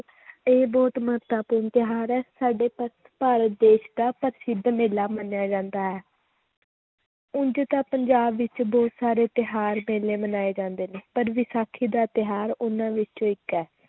ਇਹ ਬਹੁਤ ਮਹੱਤਵਪੂਰਨ ਤਿਉਹਾਰ ਹੈ ਸਾਡੇ ਭਾ~ ਭਾਰਤ ਦੇਸ ਦਾ ਪ੍ਰਸਿੱਧ ਮੇਲਾ ਮੰਨਿਆ ਜਾਂਦਾ ਹੈ ਉਞ ਤਾਂ ਪੰਜਾਬ ਵਿੱਚ ਬਹੁਤ ਸਾਰੇ ਤਿਉਹਾਰ ਮੇਲੇ ਮਨਾਏ ਜਾਂਦੇ ਨੇ ਪਰ ਵਿਸਾਖੀ ਦਾ ਤਿਉਹਾਰ ਉਹਨਾਂ ਵਿੱਚੋਂ ਇੱਕ ਹੈ